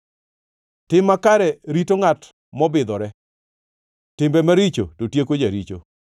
Tim makare rito ngʼat mobidhore, timbe maricho to tieko jaricho.